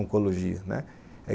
Oncologia, né?